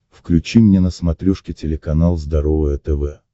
включи мне на смотрешке телеканал здоровое тв